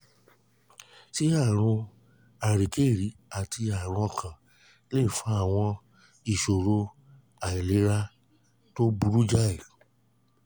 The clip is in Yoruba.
ṣé àrùn àríkèrí àti àrùn ọkàn lè fa àwọn ìṣòro àìlera tó burú jáì?